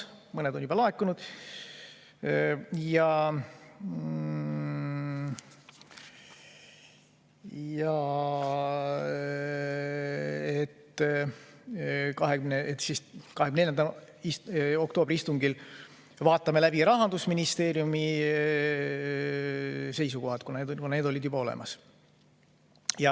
Mõned ettepanekud olid laekunud ja 24. oktoobri istungil pidime läbi vaatama Rahandusministeeriumi seisukohad, kuna need olid juba olemas.